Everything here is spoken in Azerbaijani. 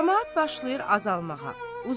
Camaat başlayır azalmağa.